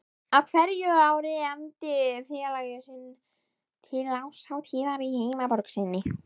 Á hverju ári efndi félagið til árshátíðar í heimaborg sinni